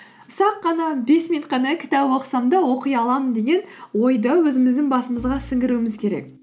ұсақ қана бес минут қана кітап оқысам да оқи аламын деген ойды өзіміздің басымызға сіңіруіміз керек